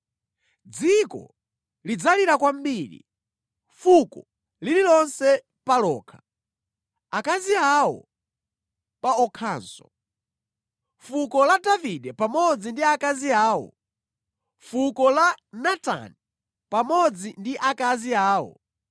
Dziko lidzalira kwambiri, fuko lililonse pa lokha, akazi awo pa okhanso: fuko la Davide pamodzi ndi akazi awo, fuko la Natani pamodzi ndi akazi awo,